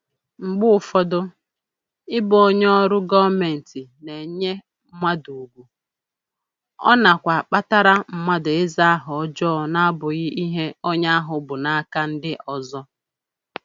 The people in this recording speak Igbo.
Mgbe ụfọdụ, ịbụ onye ọrụ gọmentị na-enye mmadụ ugwu, ọ nakwa akpatara mmadụ ịza aha ọjọọ n'abụghị ihe onye ahụ bụ n'aka ndị ọzọ